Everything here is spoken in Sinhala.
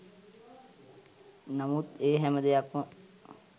නමුත් ඒ හැම දෙයක්‌ම